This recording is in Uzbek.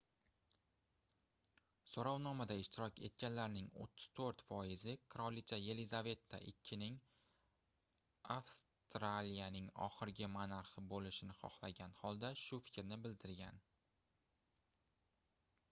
soʻrovnomada ishtirok etganlarning 34 foizi qirolicha yelizaveta ii ning avstraliyaning oxirgi monarxi boʻlishini xohlagan holda shu fikrni bildirgan